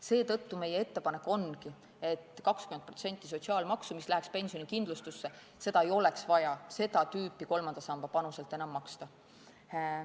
Seetõttu ongi meie ettepanek, et 20% sotsiaalmaksu, mis läheks pensionikindlustusse, ei oleks seda tüüpi kolmanda samba panuselt vaja enam maksta.